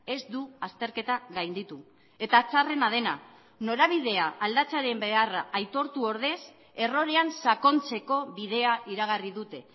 ez du azterketa gainditu eta txarrena dena norabidea aldatzearen beharra aitortu ordez errorean sakontzeko bidea iragarri dute